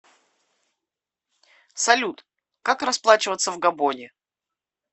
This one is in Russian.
салют как расплачиваться в габоне